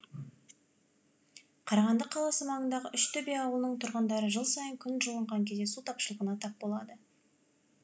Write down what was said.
қарағанды қаласы маңындағы үштөбе ауылының тұрғындары жыл сайын күн жылынған кезде су тапшылығына тап болады